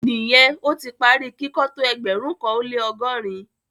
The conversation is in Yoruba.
Níyẹn, o ti pá rí kikọ̀ tó ẹgbérùn kan o le ọgọ́rin?